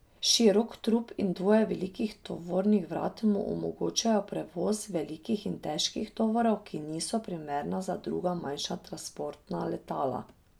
Širok trup in dvoje velikih tovornih vrat mu omogočajo prevoz velikih in težkih tovorov, ki niso primerna za druga manjša transportna letala.